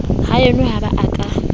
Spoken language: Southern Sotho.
haeno ha ba a ka